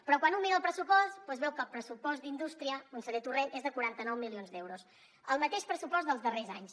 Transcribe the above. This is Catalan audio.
però quan un mira el pressupost veu que el pressupost d’indústria conseller torrent és de quaranta nou milions d’euros el mateix pressupost dels darrers anys